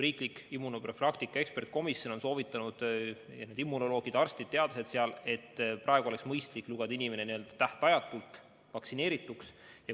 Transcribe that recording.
Riiklik immunoprofülaktika ekspertkomisjon on soovitanud – kõik need immunoloogid, arstid, teadlased seal –, et praegu oleks mõistlik lugeda inimene n-ö tähtajatult vaktsineerituks.